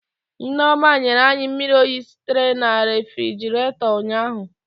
Nneoma nyere anyị mmiri oyi sitere na refigerator ụnyahụ